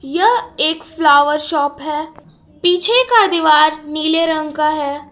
यह एक flower shop है पीछे का दीवार नीले रंग का है।